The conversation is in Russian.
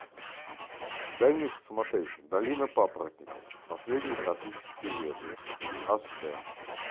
дай мне посмотреть долина папоротников последний тропический лес аш дэ